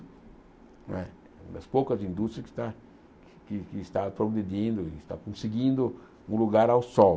Não é é uma das poucas indústrias que está que que está progredindo e está conseguindo um lugar ao sol.